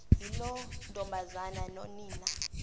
yiloo ntombazana nonina